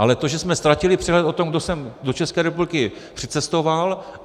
Ale to, že jsme ztratili přehled o tom, kdo sem do České republiky přicestoval...